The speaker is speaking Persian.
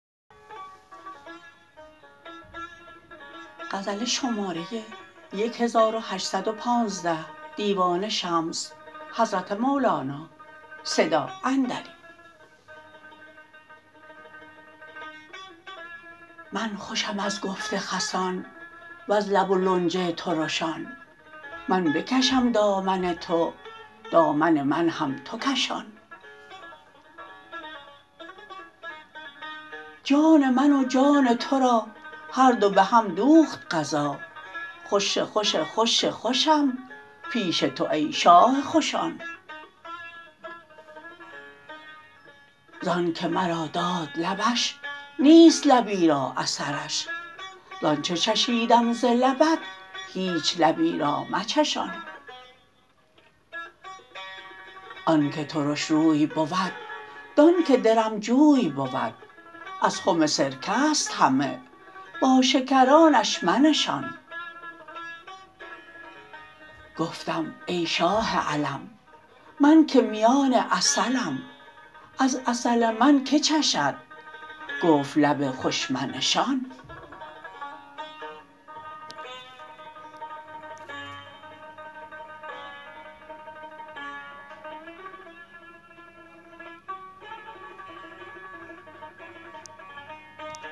من خوشم از گفت خسان وز لب و لنج ترشان من بکشم دامن تو دامن من هم تو کشان جان من و جان تو را هر دو به هم دوخت قضا خوش خوش خوش خوشم پیش تو ای شاه خوشان زانک مرا داد لبش نیست لبی را اثرش ز آنچ چشیدم ز لبت هیچ لبی را مچشان آنک ترش روی بود دانک درم جوی بود از خم سرکه است همه با شکرانش منشان گفتم ای شاه علم من که میان عسلم از عسل من که چشد گفت لب خوش منشان